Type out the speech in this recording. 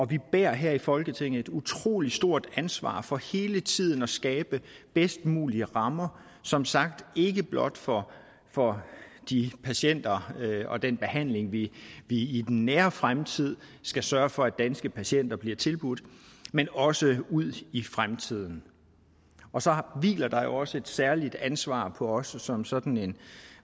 vi bærer her i folketinget et utrolig stort ansvar for hele tiden at skabe de bedst mulige rammer som sagt ikke blot for for de patienter og den behandling vi i den nære fremtid skal sørge for at danske patienter bliver tilbudt men også ud i fremtiden og så hviler der også et særligt ansvar på os som sådan en